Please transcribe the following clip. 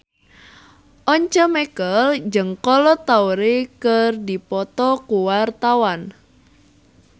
Once Mekel jeung Kolo Taure keur dipoto ku wartawan